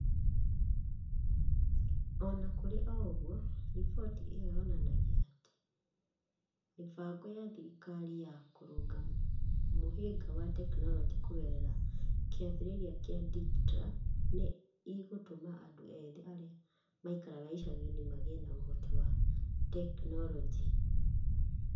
O na kũrĩ ũguo, riboti ĩyo yonanagia atĩ mĩbango ya thirikari ya kũrũnga mũhĩnga wa tekinolonjĩ kũgerera kĩambĩrĩria kĩa DigiTruck nĩ ĩgũtũma andũ ethĩ arĩa maikaraga icagi-inĩ magĩe na ũhoti wa tekinolonjĩ.